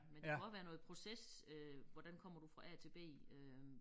Men det kunne også være noget proces øh hvordan kommer du fra A til B øh